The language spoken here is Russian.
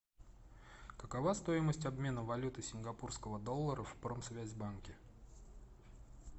какова стоимость обмена валюты сингапурского доллара в промсвязьбанке